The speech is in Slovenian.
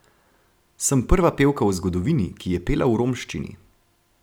Sem prva pevka v zgodovini, ki je pela v romščini.